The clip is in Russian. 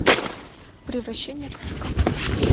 превращение кафка